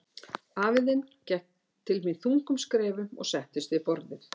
Afi þinn gekk til mín þungum skrefum og settist við borðið.